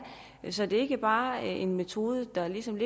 så det ikke bare er en metode der ligesom